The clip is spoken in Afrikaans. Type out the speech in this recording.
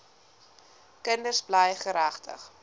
kinders bly geregtig